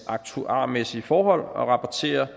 aktuarmæssige forhold og rapportere